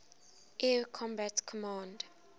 air combat command